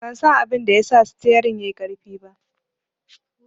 Ban san abinda ya sa sitiyerin ɗin yai ƙarfi ba